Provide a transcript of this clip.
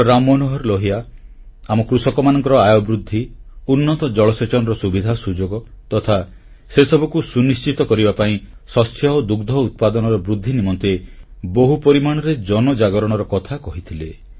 ଡଃ ରାମ ମନୋହର ଲୋହିଆ ଆମ କୃଷକମାନଙ୍କର ଆୟବୃଦ୍ଧି ଉନ୍ନତ ଜଳସେଚନର ସୁବିଧା ସୁଯୋଗ ତଥା ସେସବୁକୁ ସୁନିଶ୍ଚିତ କରିବା ପାଇଁ ଶସ୍ୟ ଓ ଦୁଗ୍ଧ ଉତ୍ପାଦନର ବୃଦ୍ଧି ନିମନ୍ତେ ବହୁ ପରିମାଣରେ ଜନଜାଗରଣର କଥା କହିଥିଲେ